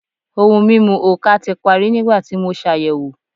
Ohun mimu oka ti pari nigbati mo ṣayẹwo